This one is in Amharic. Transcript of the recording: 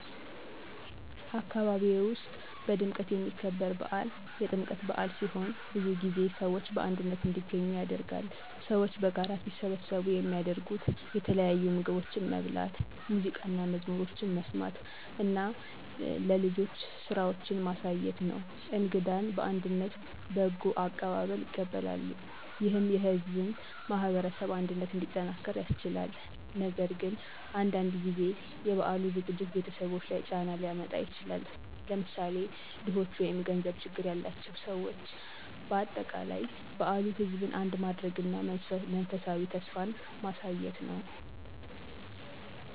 አካባቢዬ ውስጥ በድምቀት የሚከበር በዓል የጥምቀት በአል ሲሆን ብዙ ሰዎች በአንድነት እንዲገኙ ያደርጋል። ሰዎች በጋራ ሲሰበሰቡ የሚያደርጉት የተለያዩ ምግቦችን መብላት፣ ሙዚቃና መዝሙሮችን መስማት እና ለልጆች ስራዎችን ማሳየት ነው። እንግዳን በአንድነት በጎ አቀባበል ይቀበላሉ፣ ይህም የሕዝብን ማህበረሰብ አንድነት እንዲጠናክር ያስችላል። ነገር ግን አንዳንድ ጊዜ የበዓሉ ዝግጅት ቤተሰቦች ላይ ጫና ሊያመጣ ይችላል፣ ለምሳሌ ድኾች ወይም ገንዘብ ችግር ያላቸው ሰዎች። በአጠቃላይ በዓሉ ሕዝብን አንድ ማድረግ እና የመንፈሳዊ ተስፋ ማሳየት ነው።